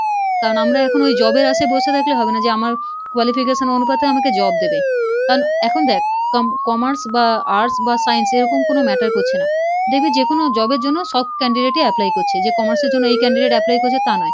কারণ আমরা এখন ওই job এর আশে বসে থাকলে হবে না যে আমার qualification অনুপাতে আমাকে job দেবে, কারণ এখন দেখ com~ commerce বা arts বা science এরকম কোনো matter করছে না, দেখবি যে কোনো job এর জন্য সব candidate ই apply করছে, যে commerce এর জন্য এই candidate apply করছে তা নয়।